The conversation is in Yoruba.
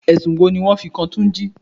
Ẹ̀sùn wo ni wọn fi kan túnjí?